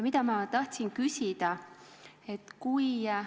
Mida ma tahtsin küsida?